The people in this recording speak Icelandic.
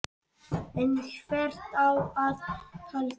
En hvert á að halda?